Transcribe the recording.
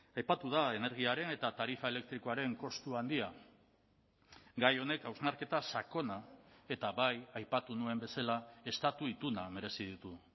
aipatu da energiaren eta tarifa elektrikoaren kostu handia gai honek hausnarketa sakona eta bai aipatu nuen bezala estatu ituna merezi ditu